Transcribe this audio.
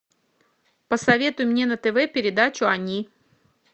посоветуй мне на тв передачу они